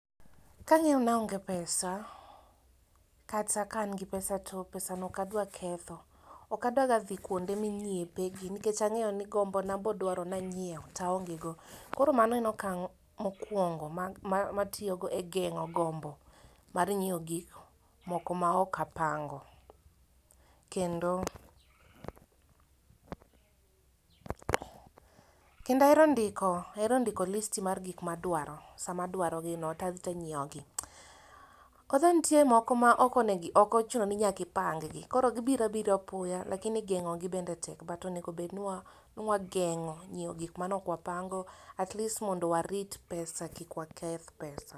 Kang'eyo naonge pesa, kata ka an gi pesa to pesa no okadwa ketho. Okadwaga dhi kwonde minyiepe gi nikech ang'eyo ni gombona bodwaro nanyiew, taonge go. Koro mano en okang' mokwongo matiyogo e geng'o gombo mar nyiewo gik moko maok apango. Kendo, kendaero ndiko list mar gik madwaro sama adwarogino tadhi tanyiewo gi. Koro nitie moko ma okochuno ni nyakipang gi, kor gibirabira apoya lakini geng'ogi bende tek. But onego obed ni wageng'o nyiewo gik manokwapango at least mondo warit pesa kik waketh pesa.